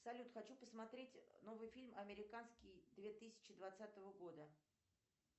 салют хочу посмотреть новый фильм американский две тысячи двадцатого года